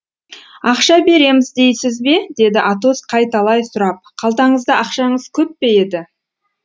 ақша береміз дейсіз бе деді атос қайталай сұрап қалтаңызда ақшаңыз көп пе еді